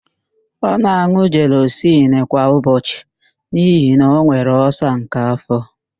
Ọ na-an̄ụ jelọsịl kwa ụbọchị n'ihi na ọ nwere ọlsa nke afọ.